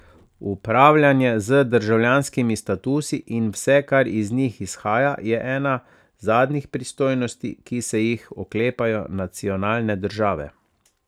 Upravljanje z državljanskimi statusi in vse, kar iz njih izhaja, je ena zadnjih pristojnosti, ki se jih oklepajo nacionalne države.